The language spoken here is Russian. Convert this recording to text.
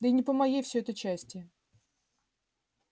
да и не по моей всё это части